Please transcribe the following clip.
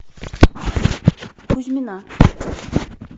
кузьмина